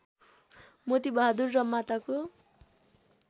मोतिबहादुर र माताको